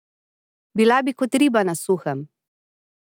Bila bi kot riba na suhem.